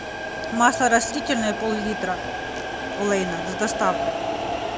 масло растительное пол литра олейна с доставкой